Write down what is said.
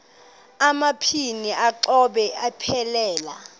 amabini exhobe aphelela